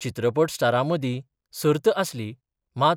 चित्रपट स्टारामंदी सर्त आसली मात